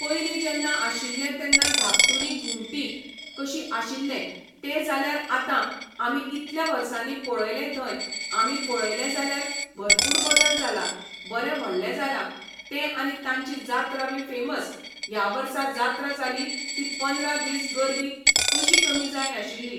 पयलीं जेन्ना आशिल्लें तेन्ना धाकटुली घुमटी कशी आशिल्लें तें जाल्यार आतां आमी इतल्या वर्सांनी पळयलें थंय आमी पळयलें जाल्यार भरपूर बदल जाला बरें व्हडलें जालां तें आनी तांची जात्रा बी फेमस ह्या वर्सा जात्रा जाली ती पंदरा दीस गर्दी कशी कमी जाय नाशिल्ली.